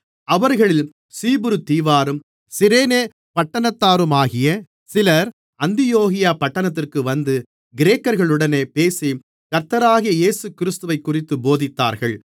அவர்களில் சீப்புருதீவாரும் சிரேனே பட்டணத்தாருமாகிய சிலர் அந்தியோகியா பட்டணத்திற்கு வந்து கிரேக்கர்களுடனே பேசிக் கர்த்தராகிய இயேசுவைக்குறித்து போதித்தார்கள்